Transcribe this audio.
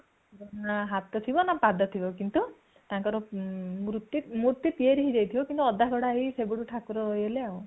ନା ହାତ ଥିବ ନା ପାଦ ଥିବ କିନ୍ତୁ ତାଙ୍କର ମୃତ୍ତି ମୂର୍ତି ତିଆରି ହେଇ ଯାଇଥିବ କିନ୍ତୁ ଅଧା ଗଢା ହେଇକି ସେବେଠୁ ଠାକୁର ରହିଗଲେ ଆଉ